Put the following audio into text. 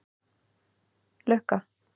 Lukka